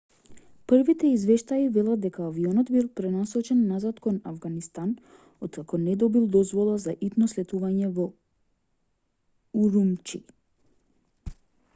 првите извештаи велат дека авионот бил пренасочен назад кон авганистан откако не добил дозвола за итно слетување во урумчи